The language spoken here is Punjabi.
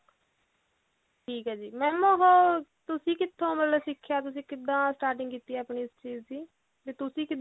ਠੀਕ ਹੈ ਜੀ mam ਉਹ ਤੁਸੀਂ ਕਿੱਥੋਂ ਮਤਲਬ ਸਿੱਖਿਆ ਤੁਸੀਂ ਕਿੱਦਾਂ starting ਕੀਤੀ ਹੈ ਆਪਣੀ ਇਸ ਚੀਜ਼ ਦੀ ਤੇ ਤੁਸੀਂ ਕਿੱਦਾਂ